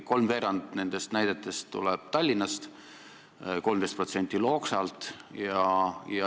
Kolmveerand nendest näidetest tuleb Tallinnast ja 13% Loksalt.